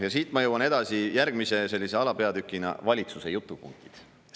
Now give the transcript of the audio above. Ja siit ma jõuan edasi järgmise sellise alapeatükini: valitsuse jutupunktid.